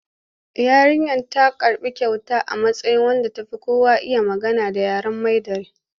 Yarinyar za ta karɓi kyauta a matsayin wadda ta fi kowa iya magana da yaren Mandarin.